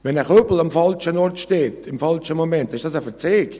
Wenn ein Kübel im falschen Moment am falschen Ort steht, ist das ein «Verzeig».